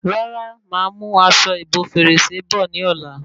Rárá, máa mú aṣọ ìbo fèrèsé bọ̀ ní ọ̀la